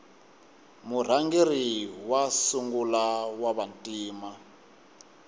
murhangeri wa sungula wava ntima